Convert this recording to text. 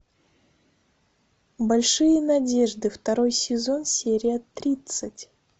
большие надежды второй сезон серия тридцать